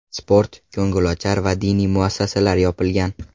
Sport, ko‘ngilochar va diniy muassasalar yopilgan.